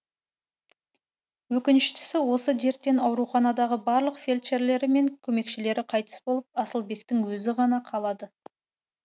өкініштісі осы дерттен ауруханадағы барлық фельдшерлері мен көмекшілері қайтыс болып асылбектің өзі ғана қалады